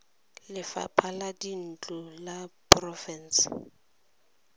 lefapha la dintlo la porofense